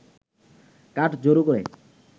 কাঠ জড়ো করে